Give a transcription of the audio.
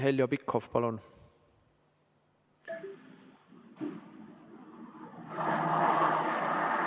Heljo Pikhof, palun!